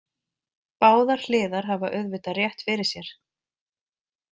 Báðar hliðar hafa auðvitað rétt fyrir sér.